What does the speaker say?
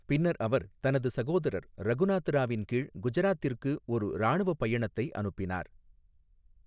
பின்னர் அவர் தனது சகோதரர் ரகுநாத் ராவின் கீழ் குஜராத்திற்கு ஒரு இராணுவ பயணத்தை அனுப்பினார்.